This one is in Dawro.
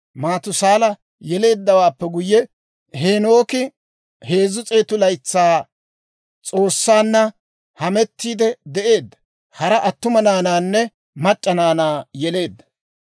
Maatusaala yeleeddawaappe guyye, Heenooki 300 laytsaa S'oossanna hamettiidde de'eedda; hara attuma naanaanne mac'c'a naanaa yeleedda.